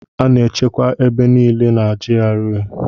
A na-echekwa ebe niile na GRA.